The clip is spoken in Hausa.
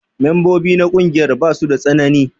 Membobi na ƙungiyar basu da tsanani.